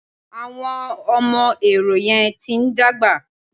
Àwọn ọmọ Ehoro yẹn ti ń dàgbà.